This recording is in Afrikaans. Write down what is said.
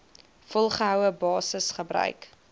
volgehoue basis gebruik